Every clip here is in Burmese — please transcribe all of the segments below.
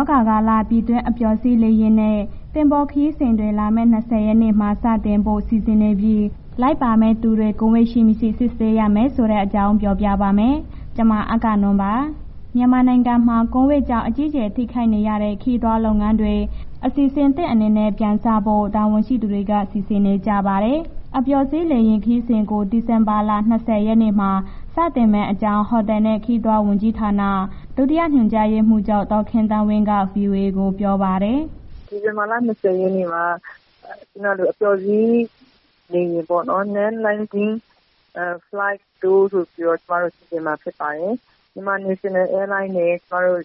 ောဂါကာလ ပြည်တွင်း အပျော်စီးလေယာဉ်နဲ့ သင်္ဘောခရီးစဉ်တွေ လာမယ့် ၂၀ နေ့မှာ စတင်ဖို့ စီစဉ်နေပြီး လိုက်ပါမယ့် သူတွေ ကိုဗစ်ရှိ၊ မရှိစစ်ဆေးရမယ်ဆိုတဲ့အကြောင်း ပြောပြပါမယ်။ ဗွီအိုအေမြန်မာပိုင်း သတင်းထောက် မအဂ္ဂနွန်က သတင်းပေးပို့ထားပါတယ်။ မြန်မာနိုင်ငံမှာ ကိုဗစ်ကြောင့် အကြီးကျယ် ထိခိုက်နေရတဲ့ ခရီးသွားလုပ်ငန်းတွေ အစီစဉ်သစ်အနေနဲ့ ပြန်စနိုင်ဖို့ တာဝန်ရှိသူတွေက စီစဉ်နေကြပါတယ်။ အပျော်စီးလေယာဉ် ခရီးစဉ်ကို ဒီဇင်ဘာလ ၂၀ ရက်နေ့မှာ စတင်မယ့်အကြောင်း ဟိုတယ်နဲ့ ခရီးသွားလာရေးဝန်ကြီးဌာန ဒုတိယညွှန်ကြားရေးမှူးချုပ် ဒေါ်ခင်သန်းဝင်းက ဗွီအိုအေကို ပြောပါတယ်။ “ဒီဇင်ဘာလ ၂၀ ရက်နေ့မှာ အပျော်စီးလေယာဉ်ပေါ့နော်။ Non Landing Flights Tour ဆိုပြီးတော့ ကျမတို့ စီစဉ်မှာ ဖြစ်ပါတယ်။ မြန်မာနေရှင်းနယ်အဲလိုင်းနဲ့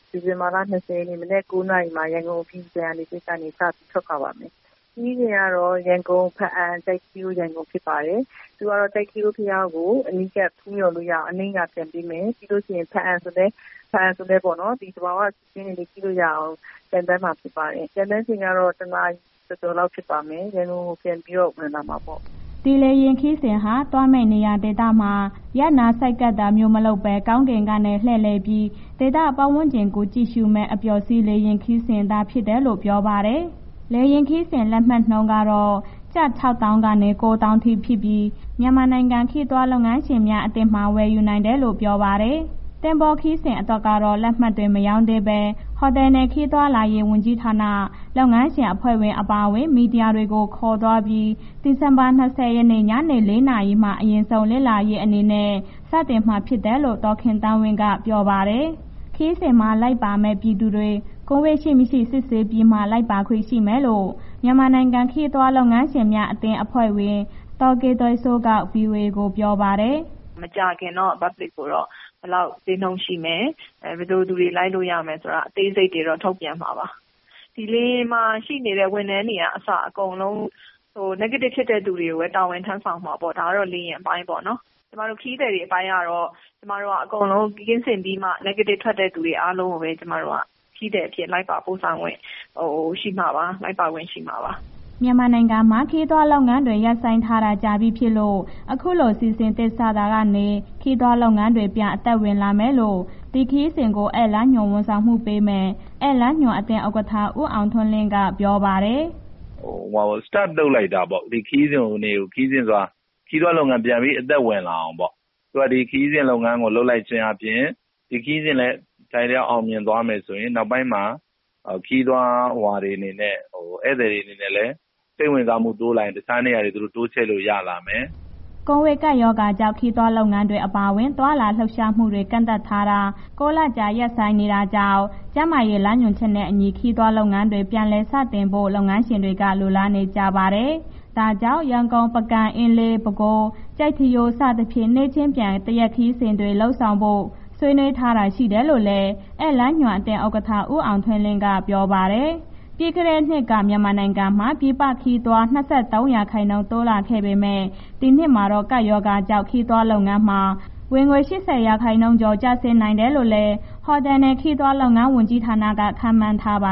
ဒီဇင်ဘာလ ၂၀ ရက်နေ့ မနက် ၉ နာရီမှာ ရန်ကုန်အပြည်ပြည်ဆိုင်ရာ လေဆိပ်ကနေ စထွက်ခွာပါမယ်။ ခရီးစဉ်ကတော့ ရန်ကုန်၊ ဘားအံ၊ ကျိုက်ထီးရိုးဖြစ်ပါတယ်။ သူက ကျိုက်ထီးရိုးဘုးရားကို အနီးကပ်ဖူးမျှော်လို့ရအောင် အနိမ့်က ပျံပေးမယ်။ ဘားအံဆိုလည်းပေါ့နော်... သဘာဝရှုခင်းတွေကြည့်လို့ရအောင် ပျံသန်းမှာဖြစ်ပါတယ်။ ပျံတဲ့အချိန်ကတော့ တစ်နာရီကျော်ကျော်ဖြစ်ပါမယ်။ ရန်ကုန်ကိုပြန်ပြီးတော့ ဝင်လာမှာပေါ့။” ဒီလေယာဉ်ခရီးစဉ်ဟာ သွားမယ့်နေရာဒေသမှာ ရပ်နားဆိုက်ကပ်တာမျိုး မလုပ်ဘဲ ကောင်းကင်ကနေ လှည့်လည်ပြီး ဒေသပတ်ဝန်းကျင်ကို ကြည့်ရှုမယ့် အပျော်စီးလေယာဉ်ခရီးစဉ်သာဖြစ်တယ်လို့ ပြောပါတယ်။ လေယာဉ်ခရီးစဉ်လက်မှတ်နှုန်းကတော့ ကျပ် ၆၀,၀၀၀ ကနေ ၉၀,၀၀၀ ထိ ဖြစ်ပြီး မြန်မာနိုင်ငံခရီးသွားလုပ်ငန်းရှင်များ အသင်းမှာ ဝယ်ယူနိုင်တယ်လို့ ပြောပါတယ်။ သင်္ဘောခရီးစဉ်အတွက်တော့ လက်မှတ်တွေ မရောင်းသေးဘဲ ဟိုတယ်နဲ့ ခရီးသွားလာရေးဝန်ကြီးဌာန၊ လုပ်ငန်းရှင်အဖွဲ့အပါအဝင် မီဒီယာတွေကို ခေါ်သွားပြီး ဒီဇင်ဘာလ ၂၀ ရက်နေ့ ညနေ ၄ နာရီမှာ အရင်ဆုံးလေ့လာရေးအနေနဲ့ စတင်မှာဖြစ်တယ်လို့ ဒေါ်ခင်သန်းဝင်းက ပြောပါတယ်။ ခရီးစဉ်မှာလိုက်ပါမယ့် ပြည်သူတွေ ကိုဗစ်ရှိ၊ မရှိစစ်ဆေးပြီးမှ လိုက်ပါခွင့်ရှိမယ်လို့ မြန်မာနိုင်ငံခရီးသွားလုပ်ငန်းရှင်များအသင်းအဖွဲ့ဝင် ဒေါ်ကေသွယ်စိုးက ဗွီအိုအေကို ပြောပါတယ်။ “မကြာခင်တော့ အများပြည်သူတွေကို ဘယ်လောက်ဈေးနှုန်းရှိမယ်၊ ဘယ်လိုလူတွေ လိုက်လို့ရမယ်ဆိုတာ အသေးစိတ်ကိုတော့ ထုတ်ပြန်မှာပါ။ ဒီလေယာဉ်မှာရှိနေတဲ့ ဝန်ထမ်းတွေကအစ အကုန်လုံး Negative ဖြစ်တဲ့ လူတွေကိုပဲ တာဝန်ထမ်းဆောင်ရမှာပေါ့၊ ဒါတော့ လေယာဉ်အပိုင်းပေါ့နော်။ ကျမတို့ ခရီးသည်တွေအပိုင်းကတော့ ကျမတို့က အကုန်လုံးကင်းစင်ပြီးမှ Negative ထွက်တဲ့ သူတွေအားလုံးကိုပဲ ကျမတို့က ခရီးသည်အဖြစ် လိုက်ပါပို့ဆောင်ခွင့် ရှိမှာပါ၊ လိုက်ပါခွင့်ရှိမှာပါ။” မြန်မာနိုင်ငံမှာ ခရီးသွားလုပ်ငန်းတွေ ရပ်ဆိုင်းထားတာ ကြာပြီဖြစ်လို့ အခုလိုအစီစဉ်အသစ်စတာကနေ ခရီးလုပ်ငန်းတွေ ပြန်အသက်ဝင်လာမယ်လို့ ဒီခရီးစဉ်ကို ဧည့်လမ်းဝန်ဆောင်မှုပေးမယ့် ဧည့်လမ်းညွှန်အသင်း ဥက္ကဋ္ဌ ဦးအောင်ထွန်းလင်းက ပြောပါတယ်။ “start လုပ်လိုက်တာပေါ့။ ဒီခရီးသွားလုပ်ငန်းကို ပြန်ပြီးအသက်ဝင်လာအောင်ပေါ့။ သူက ဒီခရီးလုပ်ငန်းကို လုပ်လိုက်ခြင်းအားဖြင့် ဒီခရီးစဉ်လည်း အထိုက်အလျောက် အောင်မြင်သွားမယ်လို့ဆိုရင် နောက်ပိုင်းမှာ ခရီးဧည့်သည်တွေအနေနဲ့ စိတ်ဝင်စားမှု တိုးလာရင် တခြားနေရာကို သူတို့တိုးချဲ့လို့ရလာမယ်။" ကိုဗစ်ကပ်ရောဂါကြောင့် ခရီးသွားလုပ်ငန်းတွေ အပါအဝင် သွားလာလှုပ်ရှားမှုတွေ ကန့်သတ်ထားတာ ၉ လကျော် ရပ်ဆိုင်းနေတာကြောင့် ကျန်းမာရေးလမ်းညွန်ချက်နဲ့အညီ ခရီးသွားလုပ်ငန်းတွေ ပြန်လည်စတင်ဖို့ လုပ်ငန်းရှင်တွေက လိုလာနေကြပါတယ်။ ဒါကြောင့် ရန်ကုန်၊ ပုဂံ၊ အင်းလေး၊ ပဲခူး၊ ကျိုက်ထီးရိုး စသဖြင့် နေ့ချင်းပြန် တစ်ရက်ခရီးစဉ်တွေ လုပ်ဆောင်ဖို့ ဆွေးနွေးထားတာရှိတယ်လို့လည်း ဧည့်လမ်းညွှန်အသင်း ဥက္ကဋ္ဌ ဦးအောင်ထွန်းလင်းက ပြောပါတယ်။ ပြီးခဲ့တဲ့နှစ်က မြန်မာနိုင်ငံမှာ ပြည်ပခရီးသွား ၂၃ ရာခိုင်နှုန်းတိုးလာခဲ့ပေမဲ့ ဒီနှစ်မှာတော့ ကပ်ရောဂါကြောင့် ခရီးသွားလုပ်ငန်းမှာ ဝင်ငွေ ၈၀ ရာခိုင်နှုန်းကျော် ကျဆင်းနိုင်တယ်လို့လည်း ဟိုတယ်နဲ့ ခရီးသွားလုပ်ငန်း ဝန်ကြီးဌာနက ခန့်မှန်းထားပါ